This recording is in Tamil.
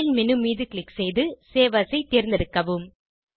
பைல் மேனு மீது க்ளிக் செய்து சேவ் ஏஎஸ் ஐ தேர்ந்தெடுக்கவும்